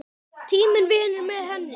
Tíminn vinnur með henni.